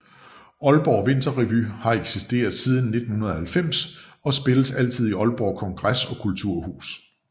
Aalborg Vinterrevy har eksisteret siden 1990 og spilles altid i Aalborg Kongres og Kulturhus